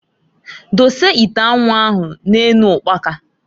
Dose ite anwu ahụ na-enu ukpaka.